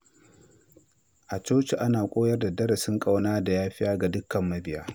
A coci, Ana koyar da darussan ƙauna da yafiya ga dukan mabiya.